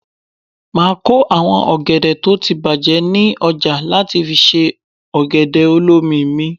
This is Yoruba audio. Máa kó àwọn ọ̀gẹ̀dẹ̀ tó ti bàjé ní ọjà láti fi ṣe ọ̀gẹ̀dẹ̀ olómi mi.